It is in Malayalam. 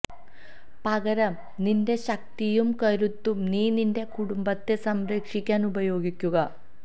പകരം നിന്റെ ശക്തിയും കരുത്തും നീ നിന്റെ കുടുംബത്തെ സംരക്ഷിക്കാന് ഉപയോഗിക്കുക